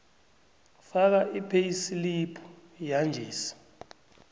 faka ipheyisilibhu yanjesi